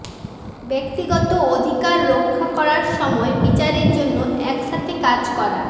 ব্যক্তিগত অধিকার রক্ষা করার সময় বিচারের জন্য একসাথে কাজ করা